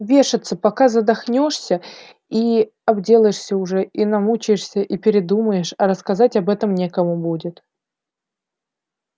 вешаться пока задохнёшься и обделаешься уже и намучаешься и передумаешь а рассказать об этом некому будет